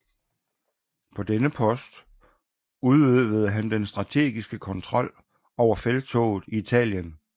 På denne post udøvede han den strategiske kontrol over felttoget i Italien